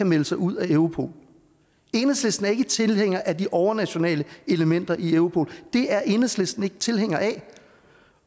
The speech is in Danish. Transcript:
melde sig ud af europol enhedslisten er ikke tilhænger af de overnationale elementer i europol det er enhedslisten ikke tilhænger af